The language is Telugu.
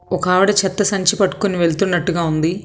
ఒక ఆవిడ చెత్త సంచి పట్టుకుని వెళ్తున్నట్టుగా ఉంది.